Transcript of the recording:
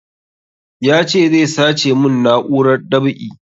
Ya ce zai sace mun na'urar dab'i